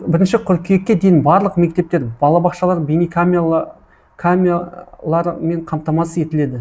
бірінші қыркүйекке дейін барлық мектептер балабақшалар бейнекамелармен қамтамасыз етіледі